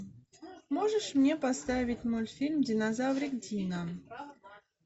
можешь мне поставить мультфильм динозаврик дино